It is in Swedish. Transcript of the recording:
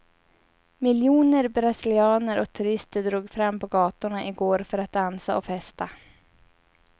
Miljoner brasilianer och turister drog fram på gatorna i går för att dansa och festa.